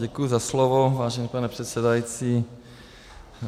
Děkuji za slovo, vážený pane předsedající.